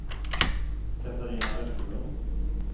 Katarina Vesterlund